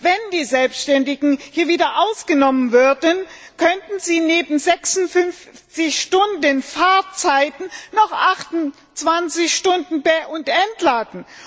Wenn die Selbständigen hier wieder ausgenommen würden, könnten sie neben 56 Stunden Fahrzeiten noch 28 Stunden be und entladen.